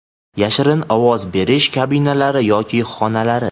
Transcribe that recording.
yashirin ovoz berish kabinalari yoki xonalari;.